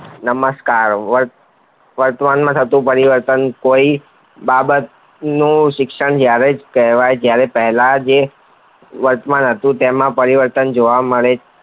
નમષ્કાર વર્તમાનમાં થતું પરિવર્તન કોઈ બાબતનું શિક્ષણ દ્વારા જ કરાવાય જયારે પહેલા જે વર્તમાન હતું તેમાં પરિવર્તન જોવા મળે છે